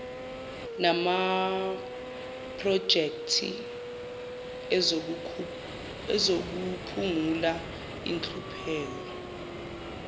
namaprojekthi ezokuphungula inhlupheko